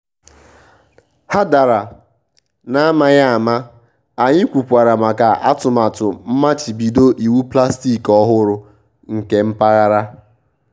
há dàrà n’amaghị ama anyị kwùkwàrà maka atụmatụ mmachibido iwu plastik ọ́hụ́rụ nke mpaghara.